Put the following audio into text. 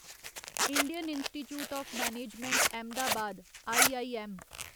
Indian institute of management Ahmedabad IIM